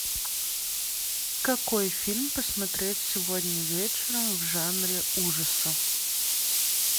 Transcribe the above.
какой фильм посмотреть сегодня вечером в жанре ужасы